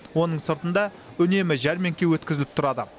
оның сыртында үнемі жәрмеңке өткізіліп тұрады